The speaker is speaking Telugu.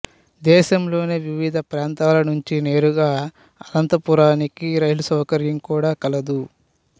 దేశంలోని వివిధ ప్రాంతాల నుంచి నేరుగా అనంతపురానికి రైలు సౌకర్యం కూడా కలదు